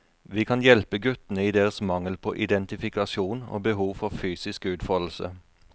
Vi kan hjelpe guttene i deres mangel på identifikasjon og behov for fysisk utfoldelse.